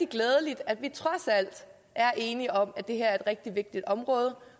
glædeligt at vi trods alt er enige om at det her er et rigtig vigtigt område